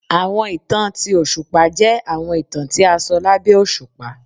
Awọn itan ti oṣupa jẹ awọn itan ti a sọ labẹ oṣupa.